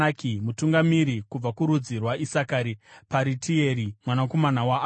Mutungamiri kubva kurudzi rwaIsakari, Paritieri mwanakomana waAzani;